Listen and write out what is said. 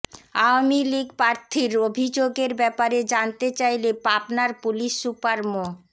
আওয়ামী লীগ প্রার্থীর অভিযোগের ব্যাপারে জানতে চাইলে পাবনার পুলিশ সুপার মো